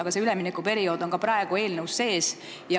Aga see üleminekuperiood on ka praegu eelnõus sees.